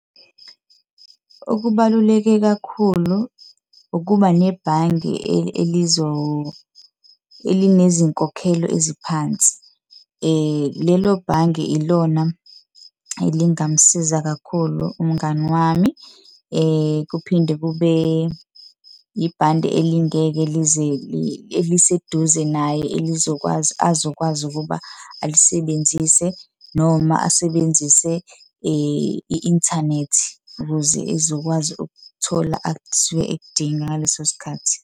Okubaluleke kakhulu ukuba nebhange elinezinkokhelo eziphansi. Lelo bhange ilona elingamsiza kakhulu umngani wami. Kuphinde kube yibhande elingeke eliseduze naye elizokwazi, azokwazi ukuba alisebenzise noma asebenzise i-inthanethi ukuze ezokwazi ukuthola asuke ekudinga ngaleso sikhathi.